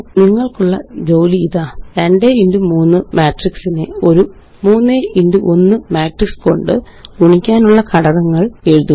നിങ്ങള്ക്കുള്ള ജോലി ഇതാ 2ക്സ്3 മാട്രിക്സിനെ ഒരു 3ക്സ്1 മാട്രിക്സ് കൊണ്ട് ഗുണിക്കാനുള്ള ഘട്ടങ്ങള് എഴുതുക